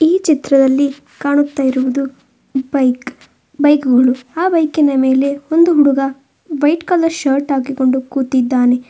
ಈ ಚಿತ್ರದಲ್ಲಿ ಕಾಣುತ್ತ ಇರುವುದು ಬೈಕ್ ಬೈಕುಗಳು ಆ ಬೈಕಿನ ಮೇಲೆ ಒಂದು ಹುಡುಗ ವೈಟ್ ಕಲರ್ ಶರ್ಟ್ ಹಾಕಿಕೊಂಡು ಕೂತಿದ್ದಾನೆ.